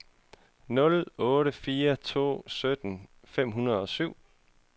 nul otte fire to sytten fem hundrede og syv